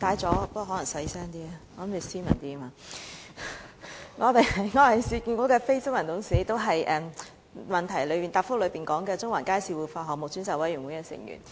主席，我申報我是市建局的非執行董事，也是主體答覆提到的中環街市活化項目專責委員會成員。